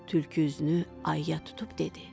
Tülkü üzünü ayuya tutub dedi.